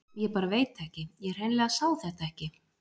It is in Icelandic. Ég bara veit ekki, ég hreinlega sá þetta ekki.